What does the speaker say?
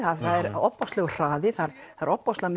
það er ofboðslegur hraði það er ofboðslega